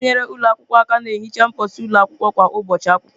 Ndị na-enyere ụlọ akwụkwọ aka na-ehicha mposi ụlọ akwụkwọ kwa ụbọchị akwụkwọ.